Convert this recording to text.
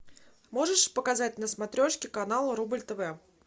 можешь показать на смотрешке канал рубль тв